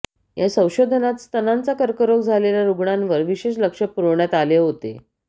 या संशोधनात स्तनांचा कर्करोग झालेल्या रुग्णांवर विशेष लक्ष पुरवण्यात आले होते